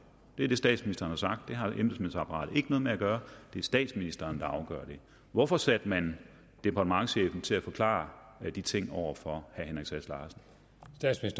det er det statsministeren har sagt at det har embedsmandsapparatet ikke noget med at gøre det er statsministeren der afgør det hvorfor satte man departementschefen til at forklare de ting over for